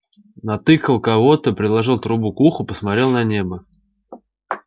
натыкал кого-то приложил трубу к уху посмотрел на небо